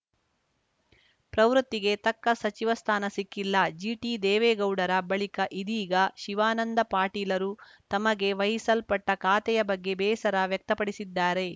ಪ್ರವೃತ್ತಿಗೆ ತಕ್ಕ ಸಚಿವ ಸ್ಥಾನ ಸಿಕ್ಕಿಲ್ಲ ಜಿಟಿದೇವೇಗೌಡರ ಬಳಿಕ ಇದೀಗ ಶಿವಾನಂದ ಪಾಟೀಲರು ತಮಗೆ ವಹಿಸಲ್ಪಟ್ಟಖಾತೆಯ ಬಗ್ಗೆ ಬೇಸರ ವ್ಯಕ್ತಪಡಿಸಿದ್ದಾರೆ